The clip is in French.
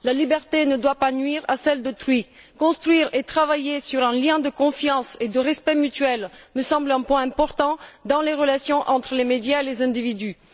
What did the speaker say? La liberté ne doit pas nuire à celle d'autrui. Construire et travailler sur un lien de confiance et de respect mutuel me semble un point important dans les relations entre les médias et les individus.